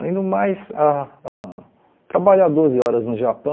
Além do mais, ah ãh trabalhar doze horas no Japão,